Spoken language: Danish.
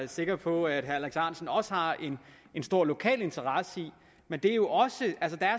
er sikker på at herre alex ahrendtsen også har en stor lokal interesse i men der er jo også